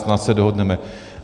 Snad se dohodneme.